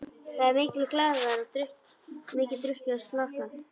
Það er mikil glaðværð og mikið drukkið og slarkað.